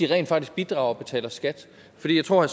rent faktisk bidrager og betaler skat for jeg tror at